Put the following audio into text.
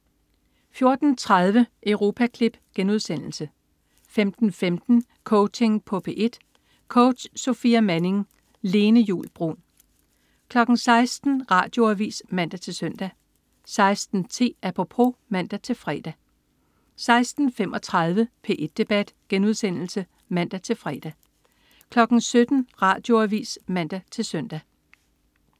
14.30 Europaklip* 15.15 Coaching på P1. Coach: Sofia Manning. Lene Juul Bruun 16.00 Radioavis (man-søn) 16.10 Apropos (man-fre) 16.35 P1 Debat* (man-fre) 17.00 Radioavis (man-søn)